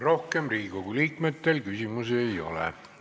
Rohkem Riigikogu liikmetel küsimusi ei ole.